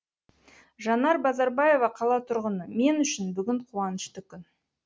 жанар базарбаева қала тұрғыны мен үшін бүгін қуанышты күн